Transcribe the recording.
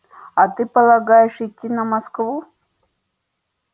а ты полагаешь идти на москву